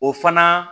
O fana